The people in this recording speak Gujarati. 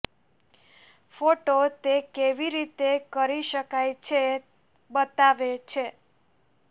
ફોટો તે કેવી રીતે કરી શકાય છે બતાવે છે